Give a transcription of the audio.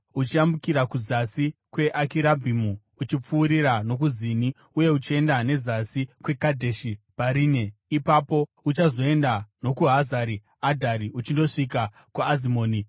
uchiyambukira zasi kweAkirabhimu, uchipfuurira nokuZini uye uchienda nezasi kweKadheshi Bharinea. Ipapo uchazoenda nokuHazari Adhari uchindosvika kuAzimoni,